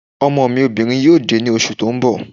Ọmọ mi obìnrin yóò dé ní oṣù tó ń bọ̀